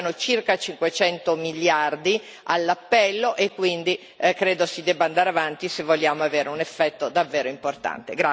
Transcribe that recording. Mancano circa 500 miliardi all'appello, e quindi credo si debba andare avanti se vogliamo avere un effetto davvero importante.